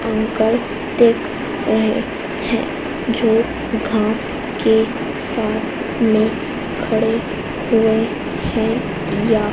uncle दिख रहे हैं जो घांस के साथ में खड़े हुए हैं या--